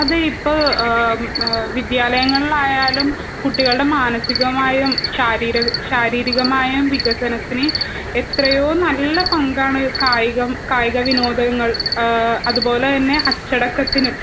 അതിപ്പോ വിദ്യാലയങ്ങളിൽ ആയാലും കുട്ടികളുടെ മാനസികമായും ശാരീരികമായും വികസനത്തിന് എത്രയോ നല്ല പങ്കാണ് കായികം കായികവിനോദങ്ങൾ അതുപോലെതന്നെ അച്ചടക്കത്തിനും